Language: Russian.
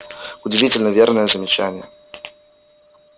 удивительно верное замечание